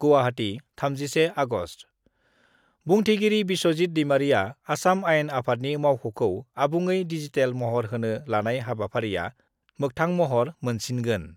गुवाहाटी, 31आगस्ट: बुंथिगिरि बिस्वजित दैमारीआ आसाम आयेन आफादनि मावख'खौ आबुङै डिजिटेल महर होनो लानाय हाबाफारिया मोगथां महर मोनसिनगोन।